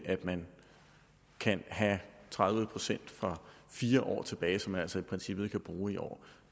at man kan have tredive procent fra for fire år tilbage som man altså i princippet kan bruge i år